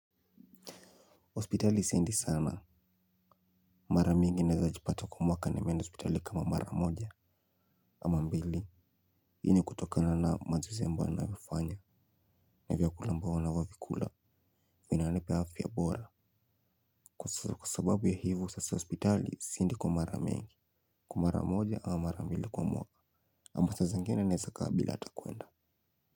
Hospitali siendi sana, mara mingi naezajipata kwa mwaka nimeenda ospitali kama mara moja, ama mbili. Hii ni kutokana na mazuse ambao anafanya, na vyakula ambavyo na wakikula, vinanipa afya bora. Kwa sababu ya hivyo, sasa hospitali siendi kwa mara mingi, kwa mara moja ama mara mbili kwa mwaka. Ama saa zingine naeza kaa bila ata kuenda.